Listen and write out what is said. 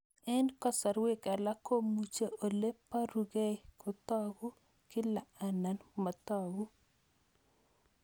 Eng' kasarwek alak komuchi ole parukei kotag'u kila anan matag'u